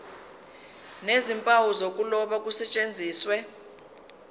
nezimpawu zokuloba kusetshenziswe